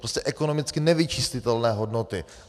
Prostě ekonomicky nevyčíslitelné hodnoty.